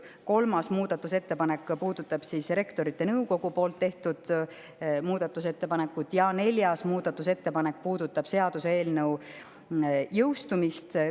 Kolmas muudatusettepanek puudutab Rektorite Nõukogu tehtud muudatusettepanekut ja neljas muudatusettepanek puudutab seaduseelnõu jõustumist.